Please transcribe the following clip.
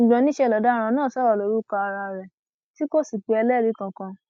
ṣùgbọn níṣẹ ni ọdaràn náà sọrọ lórúkọ ara rẹ tí kò sì pe ẹlẹrìí kankan